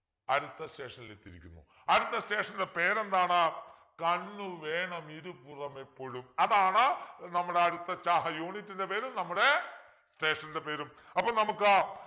അടുത്ത station ൽ എത്തിയിരിക്കുന്നു അടുത്ത station ൻ്റെ പേരെന്താണ് കണ്ണുവേണംഇരുപുറമെപ്പൊഴും അതാണ് നമ്മുടെ അടുത്ത ചാ unit ൻ്റെ പേര് നമ്മുടെ station ൻ്റെ പേരും അപ്പൊ നമുക്ക്